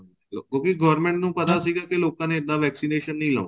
ਕਿਉਂਕਿ government ਨੂੰ ਪਤਾ ਸੀਗਾ ਕੀ ਲੋਕਾਂ ਨੇ ਇੱਦਾਂ vaccination ਨਹੀਂ ਲਗਵਾਉਣੀ